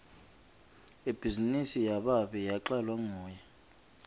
ibhizinisi yababe yacalwa nguye